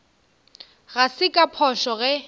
ga se ka phošo ge